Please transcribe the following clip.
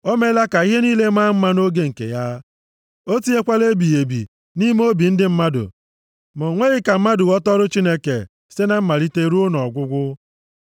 O meela ka ihe niile maa mma nʼoge nke ya. O tinyekwala ebighị ebi nʼime obi ndị mmadụ; ma o nweghị ka mmadụ ghọta ọrụ Chineke site na mmalite ruo nʼọgwụgwụ.